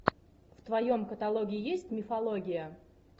в твоем каталоге есть мифология